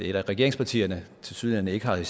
et af regeringspartierne tilsyneladende ikke har